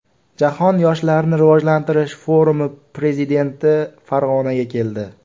Jahon yoshlarni rivojlantirish forumi prezidenti Farg‘onaga keldi.